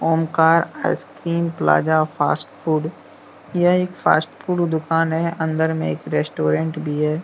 ॐ car ice cream plaza fast food यह एक fast food दुकान है अन्दर में एक रेस्टोरेंट भी हैं।